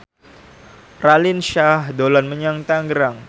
Raline Shah dolan menyang Tangerang